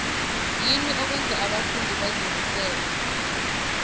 yini okwenza abafundi bazimisele